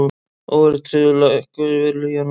Óverðtryggð lækkuðu verulega í janúar